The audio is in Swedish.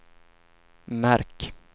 märk